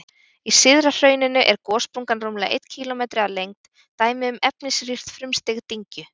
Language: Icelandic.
Í syðra hrauninu er gossprungan rúmlega einn kílómetri á lengd, dæmi um efnisrýrt frumstig dyngju.